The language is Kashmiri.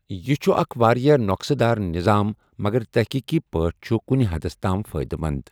یہِ چھُ اکھ واریاہ نۄقُصہٕ دار نظام مگر تحقیقی پٲٹھۍ چھُ کُنہِ حدس تام فٲیدٕ منٛد۔